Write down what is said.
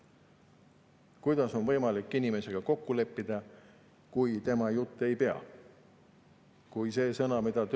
Kuidas on võimalik inimesega midagi kokku leppida, kui tema jutt ei pea?